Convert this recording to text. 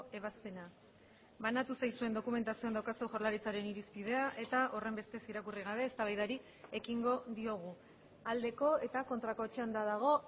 ebazpena banatu zaizuen dokumentazioan daukazue jaurlaritzaren irizpidea eta horrenbestez irakurri gabe eztabaidari ekingo diogu aldeko eta kontrako txanda dago